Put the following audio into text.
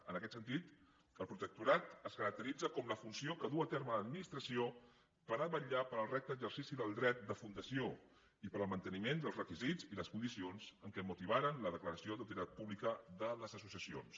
en aquest sentit el protectorat es caracteritza com la funció que duu a terme l’administració per vetllar pel recte exercici del dret de fundació i pel manteniment dels requisits i les condicions que motivaren la declaració d’utilitat pública de les associacions